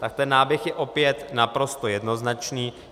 Tak ten náběh je opět naprosto jednoznačný.